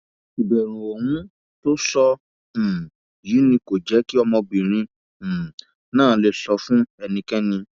ìbẹrù ohun tó sọ um yìí ni kò jẹ kí ọmọbìnrin um náà lè sọ fún ẹnikẹni